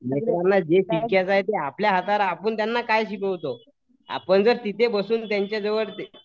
लेकरांना जे टीचर आहेत ते आपल्या हातावर आहे आपण त्यांना काय शिकवतो. आपण जर तिथे बसून त्यांच्या जवळ ते